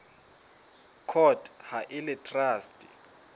court ha e le traste